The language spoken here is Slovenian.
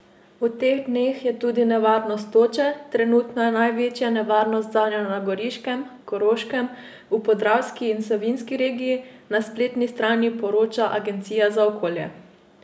V teh dneh je tudi nevarnost toče, trenutno je največja nevarnost zanjo na Goriškem, Koroškem, v Podravski in Savinjski regiji, na spletni strani poroča agencija za okolje.